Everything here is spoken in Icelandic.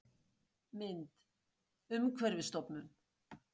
Mynd: Umhverfisstofnun